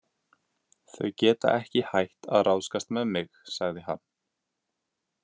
Þau geta ekki hætt að ráðskast með mig, sagði hann.